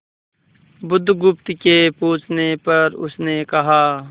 बुधगुप्त के पूछने पर उसने कहा